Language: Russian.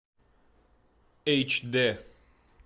эйч д